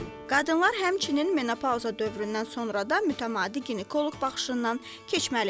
Qadınlar həmçinin menopauza dövründən sonra da mütəmadi ginekoloji baxışından keçməlidir.